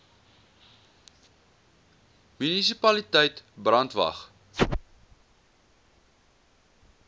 munisipaliteit brandwatch